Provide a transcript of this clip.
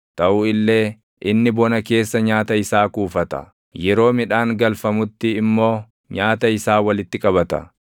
taʼu illee inni bona keessa nyaata isaa kuufata; yeroo midhaan galfamutti immoo nyaata isaa walitti qabata.